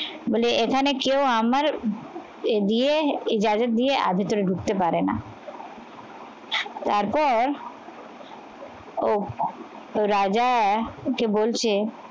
বলে এখানে কেউ আমার এ দিয়ে যাদের দিয়ে ভিতরে ঢুকতে পারে না তারপর ও রাজা ওকে বলছে